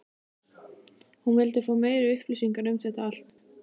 hún vildi fá meiri upplýsingar um þetta allt.